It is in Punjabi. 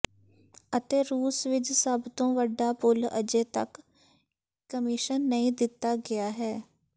ਅਤੇ ਰੂਸ ਵਿਚ ਸਭ ਤੋਂ ਵੱਡਾ ਪੁਲ ਅਜੇ ਤੱਕ ਕਮਿਸ਼ਨ ਨਹੀਂ ਦਿੱਤਾ ਗਿਆ ਹੈ